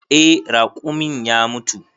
Eh, raƙumin ya mutu.